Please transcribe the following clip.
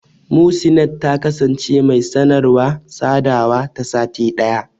Muhsinat ta ce, ta kasance mai sanarwa/sadawa ta sati ɗaya.